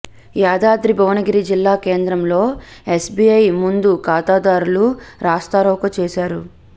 యాదాద్రి భువనగిరి జిల్లా కేంద్రంలో ఎస్బీఐ ముందు ఖాతాదారులు రాస్తారోకో చేశారు